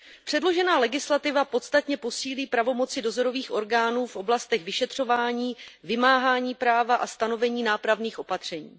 Předložená legislativa podstatně posílí pravomoci dozorových orgánů v oblastech vyšetřování, vymáhání práva a stanovení nápravných opatření.